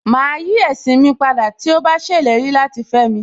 Màá yí ẹ̀sìn ní padà tí ó bá ṣèlérí láti fẹ́mi